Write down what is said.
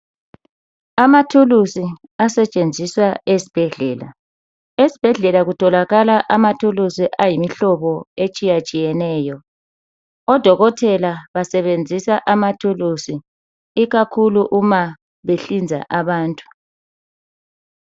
Amathulusi asetshenziswa esbhedlela. Esbhedlela utholakala amathulusi ayimhlobo atshiyatshiyeneyo. Odokotela basebenzisa amathulusi uma ikakhulu behlinza abantu.